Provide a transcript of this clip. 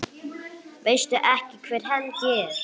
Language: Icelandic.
Veistu ekki hver Helgi er?